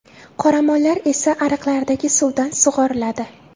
Qoramollar esa ariqlardagi suvdan sug‘oriladi.